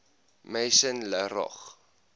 maison la roche